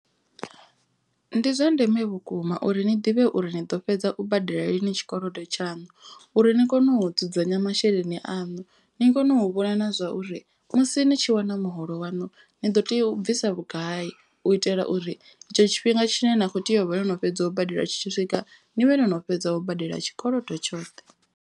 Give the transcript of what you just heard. Ndi zwa ndeme vhukuma uri ni ḓivhe uri ni ḓo fhedza u badela lini tshikolodo tshaṋu. Uri ni kone u dzudzanya masheleni aṋu ni kone u vhona na zwa uri musi ni tshi wana muholo waṋu. Ni ḓo tea u bvisa vhugai u itela uri etsho tshifhinga tshine na kho tea u vha wo no fhedza u badela tshi tshi swika. Ni vhe no no fhedza u badela tshikolodo tshoṱhe.